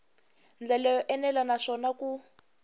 ndlela yo enela naswona ku